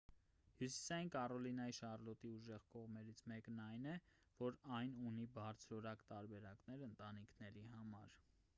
հյուսիսային կարոլինայի շարլոտի ուժեղ կողմերից մեկն այն է որ այն ունի բարձրորակ տարբերակներ ընտանիքների համար